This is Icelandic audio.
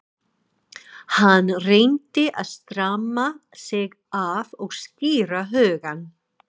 Hann reyndi að stramma sig af og skýra hugann.